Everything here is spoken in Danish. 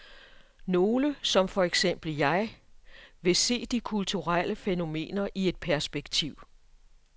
Nogle, som for eksempel jeg, vil se de kulturelle fænomener i et perspektiv.